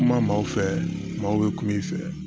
Kuma maa maaw fɛ maaw bɛ kuma i fɛ